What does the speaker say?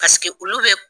olu bɛ